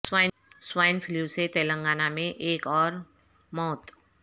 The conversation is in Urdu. سوا ئن فلو سے تلنگا نہ میں ایک اور مو ت